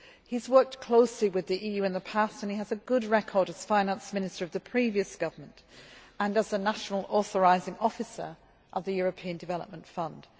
He has worked closely with the EU in the past and he has a good record as finance minister of the previous government and as a national authorising officer of the European Development Fund.